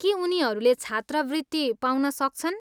के उनीहरूले छात्रवृत्ति पाउन सक्छन्?